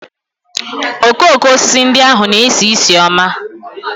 Okooko osisi ndị ahụ na-esi ísì ọma